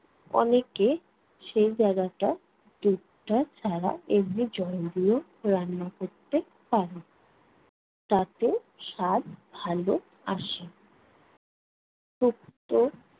অনেকে সেই জায়গাটায় দুধটা ছাড়া এমনি জল দিয়েও রান্না করতে পারে। তাতেও স্বাদ ভালো আসে। শুক্তো